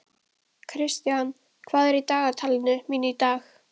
Kristian, hvað er í dagatalinu mínu í dag?